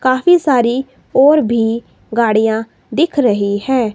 काफी सारी और भी गाड़ियां दिख रही है।